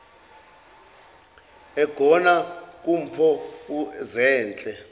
egona kumpho zehle